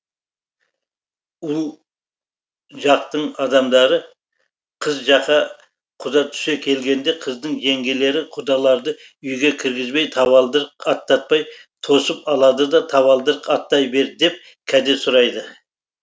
ұл жақтың адамдары қыз жаққа құда түсе келгенде қыздың жеңгелері құдаларды үйге кіргізбей табалдырық аттатпай тосып алады да табалдырық аттай бер деп кәде сұрайды